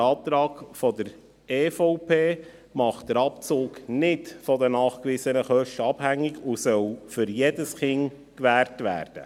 Der Antrag der EVP macht den Abzug nicht von den nachgewiesenen Kosten abhängig, sondern dieser soll für jedes Kind gewährt werden.